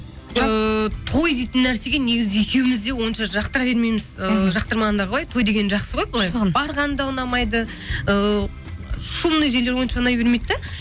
ыыы той дейтін нәрсеге негізі екеуіміз де онша жақтыра бермейміз ыыы жақтырмағанда қалай той деген жақсы ғой былай барған да ұнамайды ыыы шумный жерлер онша ұнай бермейді де